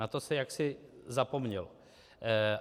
Na to se jaksi zapomnělo.